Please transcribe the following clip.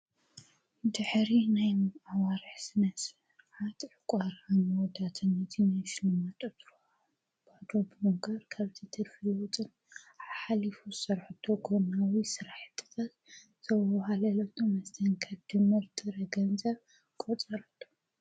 ድኅሪ ናይም ኣዋርሕ ስነስ ዓጥሕ ቋራንወዳተኒቲ ናይ ስልማጠት ባዶ ብምጋር ከብቲ ትርፊለዉጥን ኣሓሊፉ ሠርኁቶ ጐናዊ ሠራሕጥፈት ዘብሃለለቶ መስተንከ ድምርድረ ገንዘ ቖጸራዶ::